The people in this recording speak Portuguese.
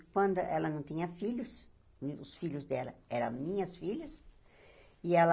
E quando ela não tinha filhos, os filhos dela eram minhas filhas, e ela...